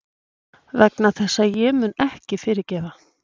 Vegna þess að ég mun ekki fyrirgefa.